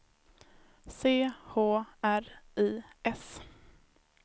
C H R I S